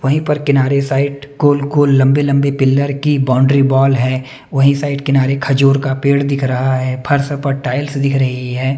वहीं पर किनारे साइड गोल-गोल लंबे-लंबे पिल्लर की बाउंड्री बॉल है वहीं साइड किनारे खजूर का पेड़ दिख रहा है फर्स पर टाइल्स दिख रही है।